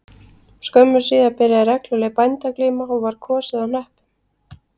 Skömmu síðar byrjaði regluleg bændaglíma og var kosið á hnöppum